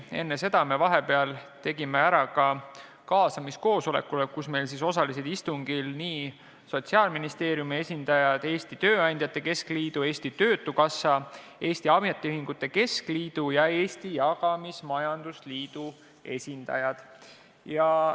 Enne seda tegime vahepeal ära ka kaasamiskoosoleku, kus meil osalesid Sotsiaalministeeriumi esindaja, Eesti Tööandjate Keskliidu, Eesti Töötukassa, Eesti Ametiühingute Keskliidu ja Eesti Jagamismajandusliidu esindajad.